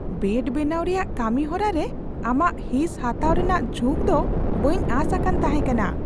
Bed ᱵᱮᱱᱟᱣ ᱨᱮᱭᱟᱜ ᱠᱟᱹᱢᱤ ᱦᱚᱨᱟ ᱨᱮ ᱟᱢᱟᱜ ᱦᱤᱸᱥ ᱦᱟᱛᱟᱣ ᱨᱮᱱᱟᱜ ᱡᱷᱩᱠ ᱫᱚ ᱵᱟᱹᱧ ᱟᱸᱥ ᱟᱠᱟᱱ ᱛᱟᱦᱮᱸ ᱠᱟᱱᱟ ᱾